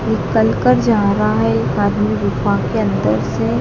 निकाल कर जा रहा है एक आदमी गुफा के अंदर से--